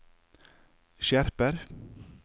skjerper